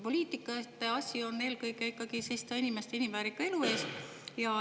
Poliitikute asi on eelkõige ikkagi seista inimeste inimväärika elu eest.